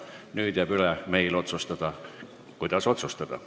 Nüüd jääb meil üle otsustada, kuidas otsustada.